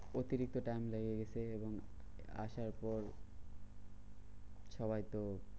অতিরিক্ত time লেগে গেছে এবং আসার পর সবাই তো